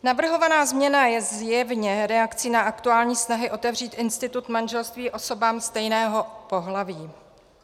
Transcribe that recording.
Navrhovaná změna je zjevně reakcí na aktuální snahy otevřít institut manželství osobám stejného pohlaví.